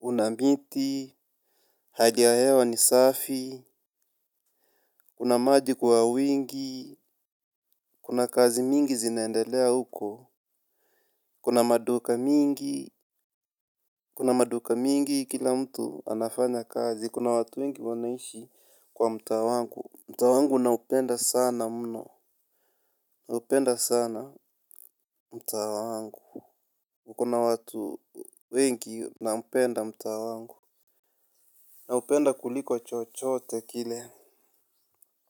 Una miti. Hali ya hewa ni safi. Kuna maji kwa wingi kuna kazi mingi zinaendelea huko. Kuna maduka mingi kuna maduka mingi kila mtu anafanya kazi kuna watu wengi wanaishi kwa mtaa wangu mtaa wangu na upenda sana mno. Naupenda sana mtaa wangu uko na watu wengi naupenda mtaa wangu. Na upenda kuliko chochote kile.